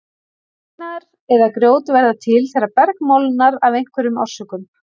Steinar eða grjót verða til þegar berg molnar af einhverjum orsökum.